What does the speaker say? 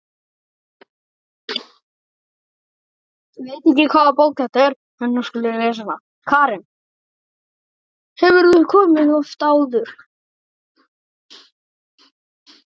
Karen: Hefurðu komið oft áður?